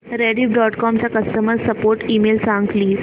Rediff dot com चा customer support email सांग please